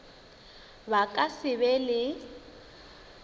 ba ka se be le